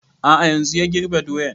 A'a yanzun ya girbe doyan